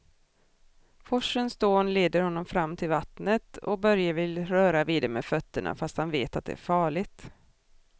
Forsens dån leder honom fram till vattnet och Börje vill röra vid det med fötterna, fast han vet att det är farligt.